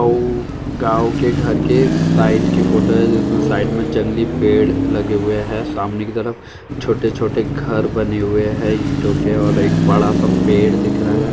ओ गाँव के घर के साईट के फोटो है जिसमे साइड में जंगली पेड़ लगे हुए है सामने की तरफ छोटे-छोटे घर बने हुए है ईंटो के और एक बड़ा-सा पेड़ दिख रहा है।